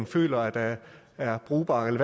føler er er brugbare eller